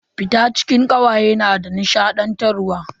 Fita cikin kawaye na da nishadantarwa.